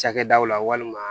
Cakɛdaw la walima